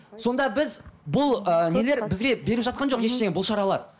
сонда біз бұл ыыы нелер бізге беріп жатқан жоқ ештеңе бұл шаралар